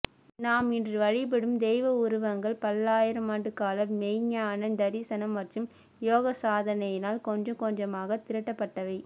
நாம் இன்று வழிபடும் தெய்வ உருவங்கள் பல்லாயிரமாண்டுக்கால மெய்ஞான தரிசனம் மற்றும் யோகசாதனையினால் கொஞ்சம் கொஞ்சமாகத் திரட்டப்பட்டவை